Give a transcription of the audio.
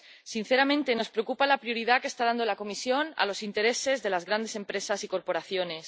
Sinceramente, nos preocupa la prioridad que está dando la Comisión a los intereses de las grandes empresas y corporaciones.